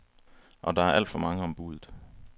Og der er alt for mange om buddet.